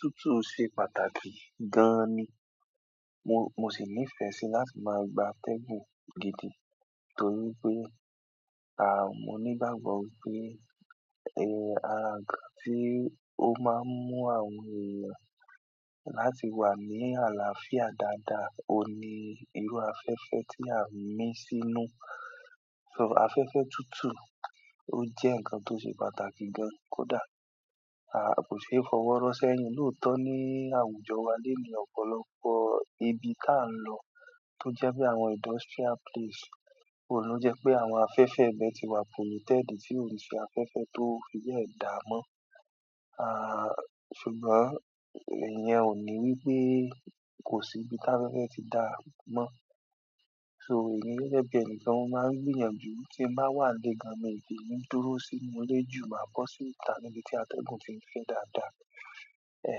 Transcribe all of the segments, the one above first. Tútù n ṣe pàtàkì gan ni. Mo, mo sì nífẹ̀ẹ́ sí láti máa gba atẹ́gùn gidi torí pé, à, mo ní ìgbàgbọ́ pé, e, ara nǹkan tí ó máa ń mú àwọn èèyàn láti wà ní àlàáfíà dáadáa, òní irú afẹ́fẹ́ tí a ń mí sínú. So afẹ́fẹ́ tútù ó jẹ́ ǹkan tó ṣe pàtàkì gan, kódà, à, kò ṣe é fọwọ́ rọ sẹ́yìn. Lótọ́ ni àwùjọ wa lónìí, ọ̀pọ̀lọpọ̀ ibi ká ń lọ tó jẹ́ pé àwọn industrial place, òun ló jẹ́ pé àwọn afẹ́fẹ́ ẹ̀bẹ̀ ti wà, polluted tí ò n ṣe afẹ́fẹ́ tó fi bẹ́ dáa mọ́. Aa ṣùgbọ́n iyen o wípé kosi ibi ti afẹ́fẹ́ ti daa mon. So èmí gẹ́gẹ́ bí ẹnìkan mó máa ń gbìyànjú ti nba wà nínú ile gàn mi kin dúró sínú ile ju mọ́ máa kọ́ síta níbi tí atẹ́gùn fi ń gbé dáadáa. E,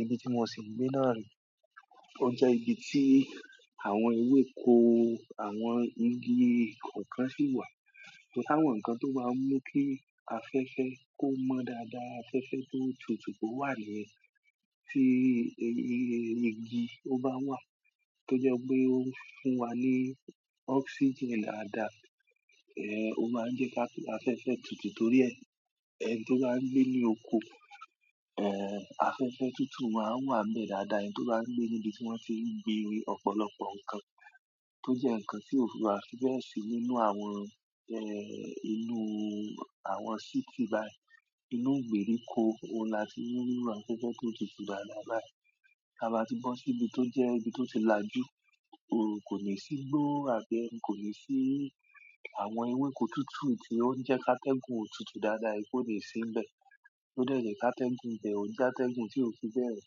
ibi tí mo sì ń gbé náà rí, ó jẹ́ ibi tí àwọn ewéko, àwọn igi kọ̀ọ̀kan sì wà. Torí táwọn nǹkan tó bá ń mú kí afẹ́fẹ́ kó mọ́ dáadáa, afẹ́fẹ́ tó tutù kó wà niyen tí igi ó bá wà tó jẹ́ pé ó ń fún wa ní oxygen dáadáa, e, ó máa ń jẹ́ ká ti afẹ́fẹ́ tutù torí ẹni tó bá ń gbé ní oko, e, afẹ́fẹ́ tútù máa ń wà bẹ́ẹ̀ dáadáa. Ẹni tó bá ń gbé níbi tí wọ́n ti ń gbin ọ̀pọ̀lọpọ̀ ǹkan tó jẹ́ ǹkan tí ò wa fi bẹ́ẹ̀ sì nínú àwọn, e, inú àwọn city báyìí, inú ìgbèríko, òun la ti mú irú afẹ́fẹ́ tó tutù bá dà báyìí. Ká bá ti bo sí ibi tó jẹ́ ibi tó ti làjú, òrò kò ní sí gbó àbí ẹni kò ní sí àwọn ewéko tútù tí ó ń jẹ́ ká atẹ́gùn tutù dáadáa, ipò lè sí níbẹ̀ tó jẹ́ ká atẹ́gùn jẹ́, ó jẹ́ ká atẹ́gùn tí ò fi bẹ́ẹ̀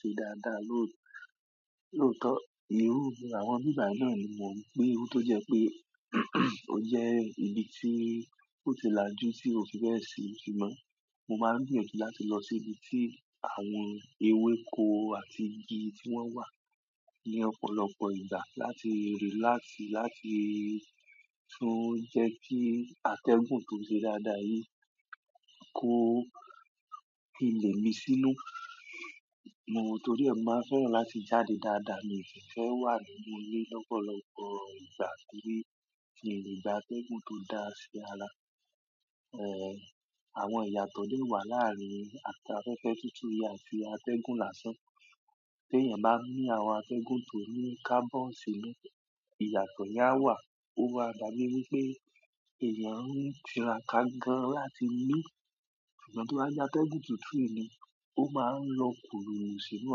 ṣe dáadáa. Lótọ́, ìrúnu àwọn ìgbà náà ni mò ń gbín. Irú tó jẹ́ pé, ó jẹ́ ibi tí ó ti làjú tí ò fi bẹ́ẹ̀ sì. Ṣùgbọ́n mo máa ń gbìyànjú láti lọ sí ibi tí àwọn ewéko àti igi tí wọ́n wà ní ọ̀pọ̀lọpọ̀ ìgbà láti relax, láti tún jẹ́ kí atẹ́gùn tó ṣe dáadáa yìí kó ilé mi sínú. Mo, torí ẹ mi máa fẹ́ràn láti jáde dáadáa, mi ò kí ń fẹ́ wà nínú ilé lọ́pọ̀lọpọ̀ ìgbà kín gbà atẹ́gùn tó dáa ṣe ara. E, àwọn ìyàtọ̀ lè wà láàárín afẹ́fẹ́ tútù yẹn àti atẹ́gùn lásán. Tí èèyàn bá min àwọn atẹ́gùn tó ní carbon sì inú, ìyàtọ̀ yen a wà. Ó máa dà bi wí pé èèyàn ń tiráka gán láti mí. Ṣùgbọ́n tí wọ́n bá yá atẹ́gùn tútù yìí ni, ó máa ń lọ kúrò sínú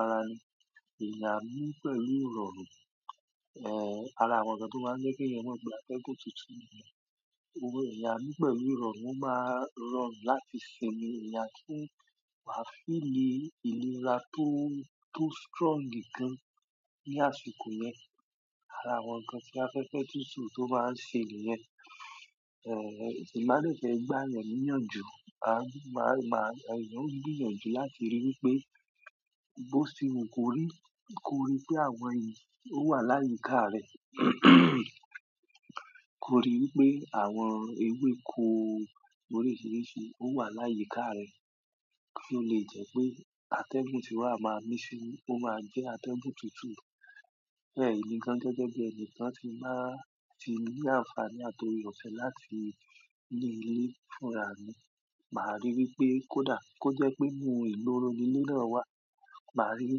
ara ẹni. Eeyán a mí pẹ̀lú irọrùn, e, ara àwọn ǹkan tí ó máa ń jẹ́ kí ẹ̀yàn mọ́ pé atẹ́gùn tútù nìyẹn. O mọ, eeyá a mín pẹ̀lú rọrùn, ó máa ń rọrùn láti sinmi. Ìyá kí ń wà feeli ìlera tó, tó strong gan ní àsìkò yẹn. Ara àwọn ǹkan tí afẹ́fẹ́ tútù tó bá ń ṣe nìyẹn. E, ẹ̀mà lè fẹ́ gbá èèyàn níyànjú. A, máa, máa, èèyàn ń gbìyànjú láti ríi wí pé bó ti mi kò rí, kò rí pé àwọn èyí ó wà láyìíká rẹ̀. Ko ri wípé àwọn ewéko oríṣiríṣi o wa ni àyíká re, ko le je wípé ategun ti o maa min sínú o maa je ategun tutu. Bẹ́ẹ̀ ni ǹkan gẹ́gẹ́ bí ẹnìkan ti máa ti ní àǹfàní àtorí òfin láti ní ilé fúnra ni. Màá ríi wí pé kó dà, kó jẹ́ pé mú ìloro inú ríran wá, màá ríi wí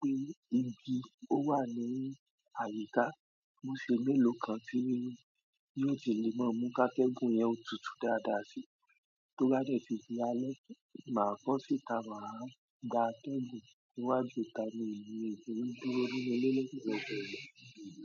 pé igi ó wà ní àyíká, ó ṣe mélòó kan tí yóò jẹ́ ni wọ́n mú ká atẹ́gùn yẹn tutù dáadáa sí. Tó bá dẹ̀ sí iṣẹ́ alẹ́, màá kọ́ síta, màá gba atẹ́gùn síwájú ká mú ìrírí dúró inú ilé ló sì jẹ́ pé èmi yóò sì gbé.